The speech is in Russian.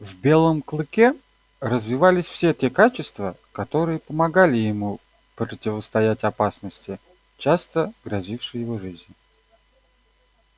в белом клыке развивались все те качества которые помогали ему противостоять опасности часто грозившей его жизнь